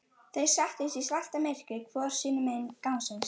Þeir settust í svartamyrkrið hvor sínu megin gangsins.